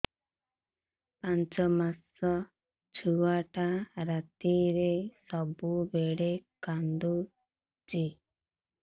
ପାଞ୍ଚ ମାସ ଛୁଆଟା ରାତିରେ ସବୁବେଳେ କାନ୍ଦୁଚି